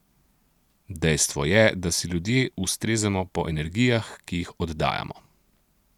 Dejstvo je, da si ljudje ustrezamo po energijah, ki jih oddajamo.